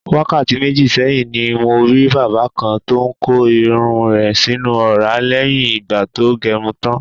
Wákàtí méjì sé̩yìn ni mo rí bàbá kan tó ń ko irun rè̩ sínú ò̩rá lé̩yìn ìgbà tó ge̩run tán.